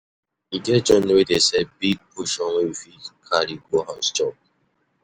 E get joint wey dey sell big portion wey you fit carry go house chop